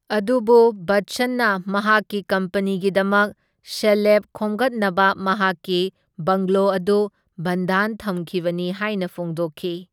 ꯑꯗꯨꯕꯨ ꯕꯆꯆꯟꯅ ꯃꯍꯥꯛꯀꯤ ꯀꯝꯄꯅꯤꯒꯤꯗꯃꯛ ꯁꯦꯜꯂꯦꯞ ꯈꯣꯝꯒꯠꯅꯕ ꯃꯍꯥꯛꯀꯤ ꯕꯪꯒ꯭ꯂꯣ ꯑꯗꯨ ꯕꯟꯙꯥꯟ ꯊꯝꯈꯤꯕꯅꯤ ꯍꯥꯏꯅ ꯐꯣꯡꯗꯣꯛꯈꯤ꯫